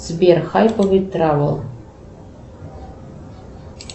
сбер хайповый травел